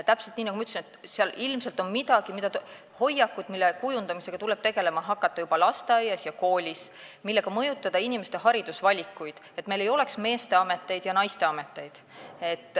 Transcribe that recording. Täpselt nii, nagu ma ütlesin, ilmselt on hoiakuid, mille kujundamisega tuleb tegelema hakata juba lasteaias ja koolis, selleks et mõjutada inimeste haridusvalikuid, et meil ei oleks meeste ja naiste ameteid.